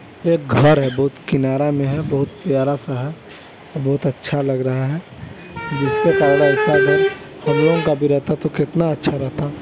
ये एक घर है बहुत किनारा में है बहुत प्यारा-सा है बहुत अच्छा लग रहा है जिसके पास अईसा घर हम लोग का भी रहता तो कितना अच्छा रहता--